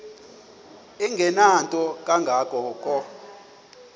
engenanto kanga ko